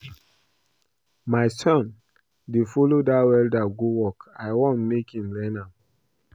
My son dey follow dat welder go work. I wan make im learn am